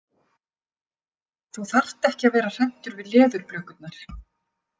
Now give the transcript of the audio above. Þú þarft ekki að vera hræddur við leðurblökurnar.